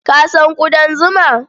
Ka san ƙudan zuma?